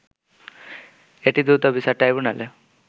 এটি দ্রুত বিচার ট্রাইব্যুনালে